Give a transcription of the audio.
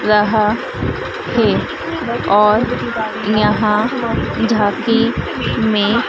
रहा है और यहां झांकी में--